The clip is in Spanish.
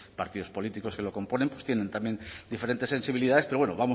partidos políticos que lo componen tienen también diferentes sensibilidades pero bueno